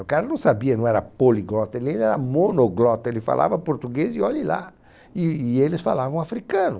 O cara não sabia, não era poliglota, ele era monoglota, ele falava português e olhe lá, e e eles falavam africano.